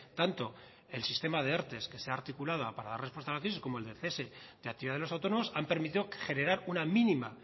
tanto el sistema de erte que se ha articulado para dar respuesta a la crisis como el del cese de actividad de los autónomos han permitido generar una mínima